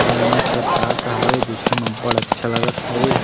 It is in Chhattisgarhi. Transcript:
अउ एमे सब का का हावे देखे म अब्बड़ अच्छा लगत हावे।